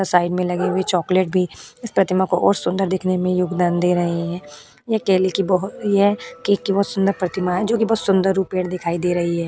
अ side में लगी हुए चॉकलेट भी प्रतिमा को और सुंदर देखने योगदान दे रही हैं अकेले के बहुत अच्छे केक की बहुत सुंदर प्रतिमा है जो कि बहुत सुंदर रूपेण दिखाई दे रही है।